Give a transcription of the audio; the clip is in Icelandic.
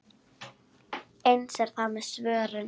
Eins er það með svörin.